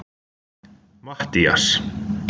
Mattías